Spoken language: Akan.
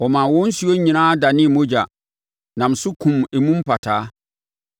Ɔmaa wɔn nsuo nyinaa danee mogya, nam so kumm emu mpataa.